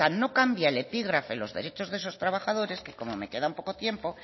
el epígrafe los derechos de esos trabajadores que como me queda poco tiempo